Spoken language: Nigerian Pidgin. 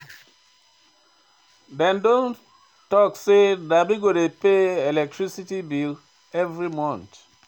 Dem don tok sey na me go dey pay electricity bills every month.